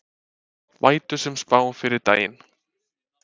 Vætusöm spá fyrir daginn